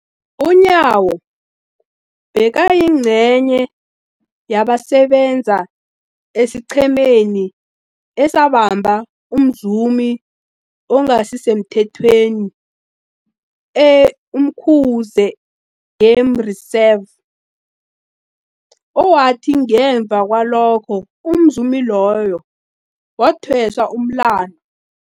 UNyawo bekayingcenye yabasebenza esiqhemeni esabamba umzumi ongasisemthethweni e-Umkhuze Game Reserve, owathi ngemva kwalokho umzumi loyo wathweswa umlandu.